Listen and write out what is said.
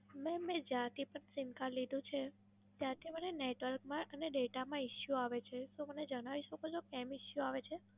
Madam, મેં જ્યારથી પણ Simcard લીધું છે, ત્યારથી મને Network માં અને Data માં Issue આવે છે, તો મને જણાવી શકો છો કેમ Issue આવે છે?